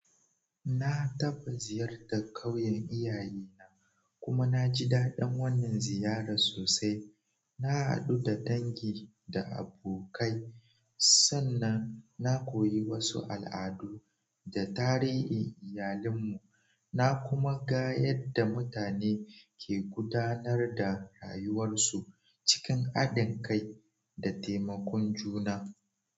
Na taɓa ziyartar ƙauyen iyaye kuma na ji daɗin wannan ziyarar sosai. Na haɗu da dangi da abokai, sannan na koyi wasu al'adu da tarihin iyalinmu. Na kuma ga yadda mutane ke gudanar da rayuwarsu cikin haɗin kai da taimakon juna.